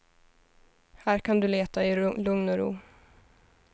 Här kan du leta i lugn och ro.